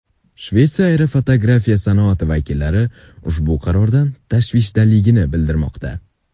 Shvetsiya aerofotografiya sanoati vakillari ushbu qarordan tashvishdaligini bildirmoqda.